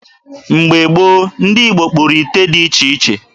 Mgbe gboo, ndị Igbo kpụrụ ụdị ite dị iche iche.